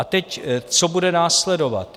A teď, co bude následovat.